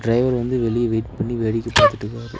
Driver வந்து வெளிய wait பண்ணி வேடிக்க பாத்துட்டுக்காரு.